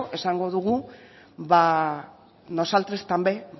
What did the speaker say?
esango dugu ba nosaltres també